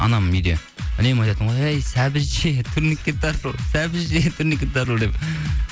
анам үйде үнемі айтатын ғой әй сәбіз же турникке тартыл сәбіз же турникке тартыл деп